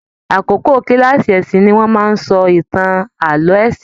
Àkókò kilaasi ẹ̀sìn ní wọn máa n sọ ìtàn ààlọ́ ẹ̀sìn.